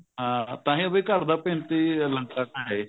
ਹਾਂ ਤਾਂਹੀ ਵੀ ਘਰ ਦਾ ਭੇਤੀ ਲੰਕਾ ਢਾਹੇ